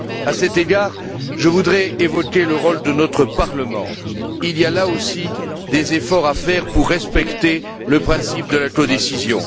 À cet égard, je voudrais évoquer le rôle de notre Parlement. Il y a, là aussi, des efforts à faire pour respecter le principe de la codécision.